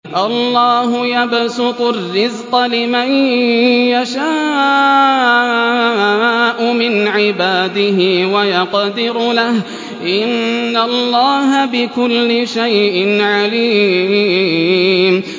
اللَّهُ يَبْسُطُ الرِّزْقَ لِمَن يَشَاءُ مِنْ عِبَادِهِ وَيَقْدِرُ لَهُ ۚ إِنَّ اللَّهَ بِكُلِّ شَيْءٍ عَلِيمٌ